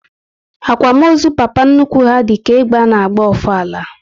Akwamozu papa nnukwu ha dịka egbe ana agba ofala